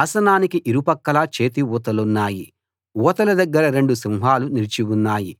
ఆసనానికి ఇరుపక్కలా చేతి ఊతలున్నాయి ఊతల దగ్గర రెండు సింహాలు నిలిచి ఉన్నాయి